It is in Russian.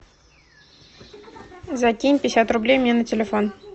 закинь пятьдесят рублей мне на телефон